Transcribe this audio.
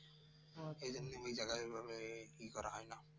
এই ঐভাবে ই করা হয় না